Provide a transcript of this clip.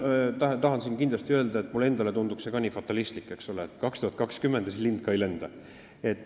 Ei, ma tahan kindlasti öelda, et mulle endale tunduks see ka fatalistlik, eks ole, et aasta 2020, ja enne lind ka ei lenda.